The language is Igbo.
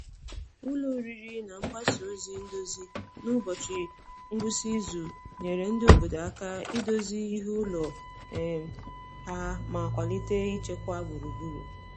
Ụlọ oriri na mgbasa ozi ndozi n’ụbọchị ngwụsị izu nyere ndị obodo aka idozi ihe ụlọ um ha ma kwalite ịchekwa gburugburu.